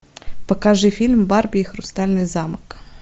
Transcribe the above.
покажи фильм барби и хрустальный замок